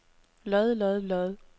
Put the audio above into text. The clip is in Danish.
lod lod lod